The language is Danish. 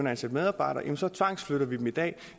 ansætte medarbejdere så tvangsflytter vi den i dag